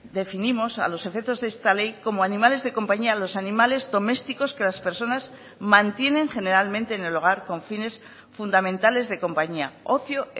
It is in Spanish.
definimos a los efectos de esta ley como animales de compañía a los animales domésticos que las personas mantienen generalmente en el hogar con fines fundamentales de compañía ocio